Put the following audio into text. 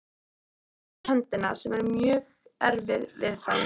Tökum til dæmis höndina, sem er mjög erfið viðfangs.